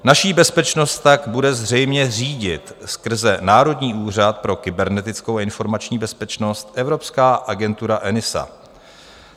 Naši bezpečnost tak bude zřejmě řídit skrze Národní úřad pro kybernetickou a informační bezpečnost evropská agentura ENISA.